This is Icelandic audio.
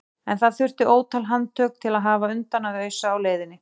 En það þurfti ótal handtök til að hafa undan að ausa á leiðinni.